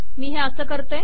मी हे असे करते